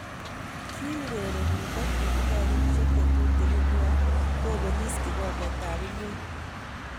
Kiurerenindet netindo kenyisiek chetutugin nea kopelis kikomber ab ngweny.